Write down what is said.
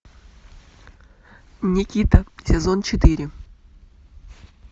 никита сезон четыре